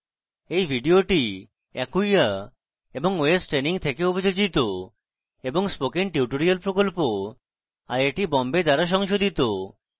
এই video acquia এবং ostraining থেকে অভিযোজিত এবং spoken tutorial প্রকল্প আইআইটি বোম্বে দ্বারা সংশোধিত